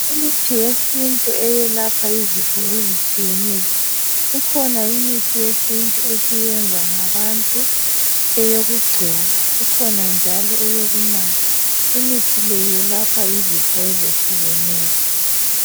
Imithi yesintu elapha izifo ezitshiyeneyo, ikhona imithi yesintu esiyenzwa ngabathu eyekugcoba , ikhona njalo eyokunatha Imithi le elapha izifo ezitshiyeneyo.